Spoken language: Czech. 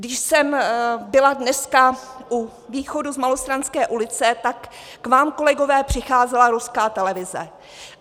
Když jsem byla dneska u východu z Malostranské ulice, tak k vám, kolegové, přicházela ruská televize.